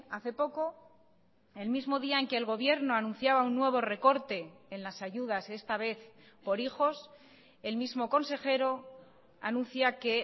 hace poco el mismo día en que el gobierno anunciaba un nuevo recorte en las ayudas esta vez por hijos el mismo consejero anuncia que